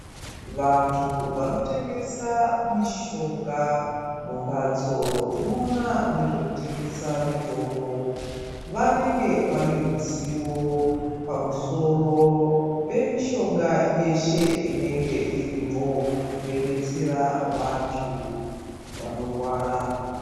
Vantu vanotengesa mishonga mumbatso dzinoona nezvekutengesa mitombo. Vanenge vaneruzivo pamusoro pemishonga yeshe inenge irimwo veibetsera vantu vanorwara.